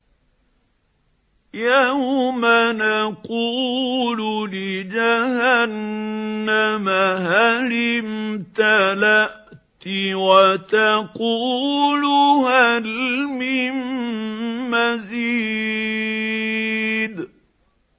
يَوْمَ نَقُولُ لِجَهَنَّمَ هَلِ امْتَلَأْتِ وَتَقُولُ هَلْ مِن مَّزِيدٍ